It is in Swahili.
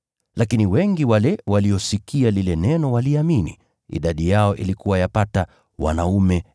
Lakini wengi waliosikia lile neno waliamini, idadi yao ilikuwa yapata wanaume 5,000.